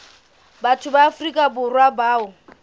batho ba afrika borwa bao